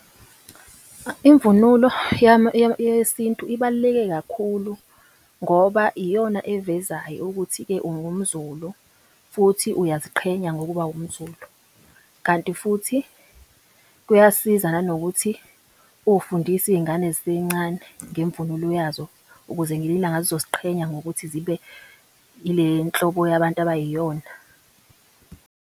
Imvunulo yami yesintu ibaluleke kakhulu, ngoba iyona evezayo ukuthi-ke ungumZulu, futhi uyaziqhenya ngokuba wumZulu. Kanti futhi kuyasiza nanokuthi ufundise iy'ngane zisencane ngemvunulo yazo ukuze ngelinye ilanga zizoziqhenya ngokuthi zibe ile nhlobo yabantu abayiyona.